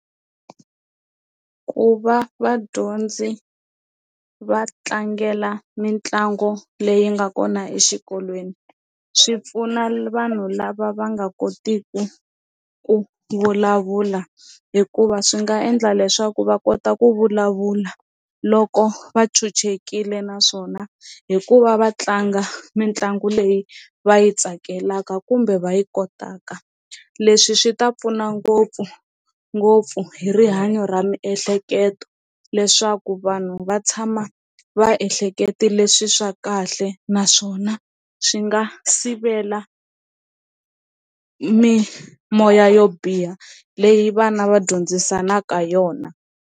Ku va vadyondzi va tlangela mitlango leyi nga kona exikolweni swi pfuna vanhu lava va nga kotiku ku vulavula hikuva swi nga endla leswaku va kota ku vulavula loko va chuchekile naswona hi ku va va tlanga mitlangu leyi va yi tsakelaka kumbe va yi kotaka, leswi swi ta pfuna ngopfungopfu hi rihanyo ra miehleketo leswaku vanhu va tshama va ehleketile leswi swa kahle naswona swi nga sivela mimoya yo biha leyi vana va dyondzisanaka yona.